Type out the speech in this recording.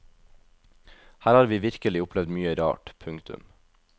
Her har vi virkelig opplevd mye rart. punktum